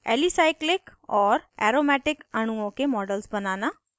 alicyclic और aromatic अणुओं के models बनाना